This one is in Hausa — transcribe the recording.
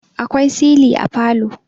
akwai sili a falo